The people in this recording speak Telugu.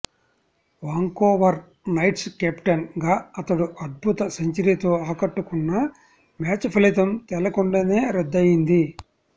వాంకోవర్ నైట్స్ కెప్టెన్ గా అతడు అద్భుత సెంచరీతో ఆకట్టుకున్నా మ్యాచ్ ఫలితం తేలకుండానే రద్దయ్యింది